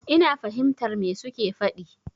Ina fahimtar me su ke faɗi.